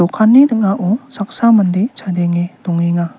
okanni ning·ao saksa mande chadenge dongenga.